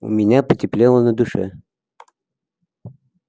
у меня потеплело на душе